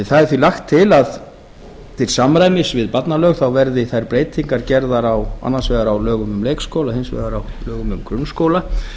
því er lagt til að til samræmis við barnalög verði þær breytingar gerðar annars vegar á lögum um leikskóla og hins vegar á lögum um grunnskóla